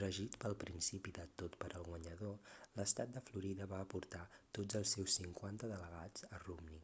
regit pel principi de tot per al guanyador l'estat de florida va aportar tots els seus cinquanta delegats a romney